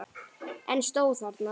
En stóð þarna.